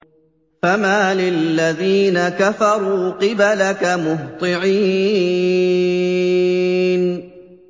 فَمَالِ الَّذِينَ كَفَرُوا قِبَلَكَ مُهْطِعِينَ